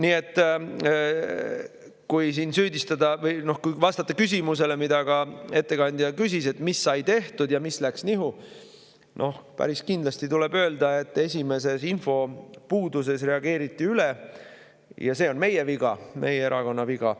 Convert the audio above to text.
Nii et kui siin süüdistada või vastata küsimusele, mida ka ettekandja küsis, et mis sai tehtud ja mis läks nihu, siis päris kindlasti tuleb öelda, et esimeses infopuuduses reageeriti üle, ja see on meie viga, meie erakonna viga.